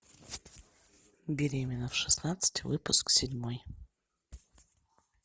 беременна в шестнадцать выпуск седьмой